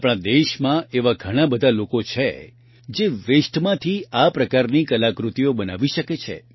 આપણા દેશમાં એવા ઘણા બધા લોકો છે જે વેસ્ટમાંથી આ પ્રકારની કલાકૃતિઓ બનાવી શકે છે